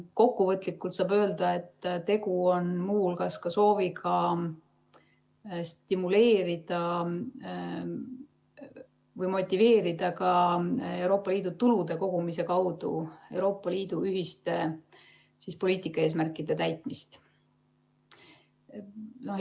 Kokkuvõtlikult saab öelda, et tegu on muu hulgas sooviga stimuleerida või motiveerida Euroopa Liidu tulude kogumise kaudu Euroopa Liidu ühiste poliitikaeesmärkide täitmist.